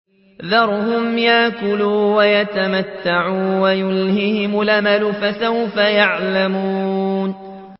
ذَرْهُمْ يَأْكُلُوا وَيَتَمَتَّعُوا وَيُلْهِهِمُ الْأَمَلُ ۖ فَسَوْفَ يَعْلَمُونَ